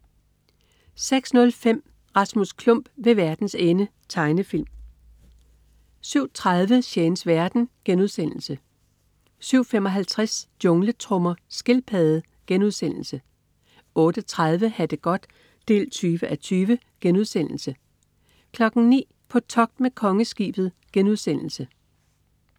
06.05 Rasmus Klump ved verdens ende. Tegnefilm 07.30 Shanes verden* 07.55 Jungletrommer. Skildpadde * 08.30 Ha' det godt 20:20* 09.00 På togt med Kongeskibet*